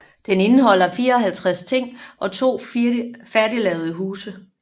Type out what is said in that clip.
Den indeholder 54 ting og to færdiglavede huse